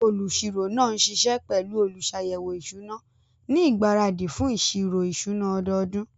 Olùṣirò náà ń ṣiṣẹ́ pẹ̀lú olùṣàyẹ̀wò ìṣúná ní ìgbáradì fún ìṣirò ìṣúná ọdọọdún.